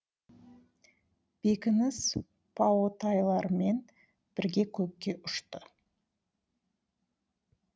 бекініс паотайларымен бірге көкке ұшты